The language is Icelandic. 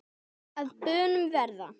og að bönum verða